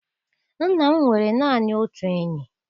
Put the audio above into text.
Nna m nwere naanị otu enyi.